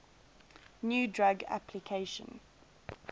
new drug application